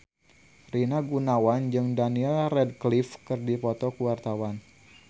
Rina Gunawan jeung Daniel Radcliffe keur dipoto ku wartawan